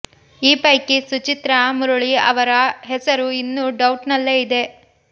ಈ ಪೈಕಿ ಸುಚಿತ್ರಾ ಮುರಳಿ ಅವರ ಹೆಸರು ಇನ್ನೂ ಡೌಟ್ ನಲ್ಲೇ ಇದೆ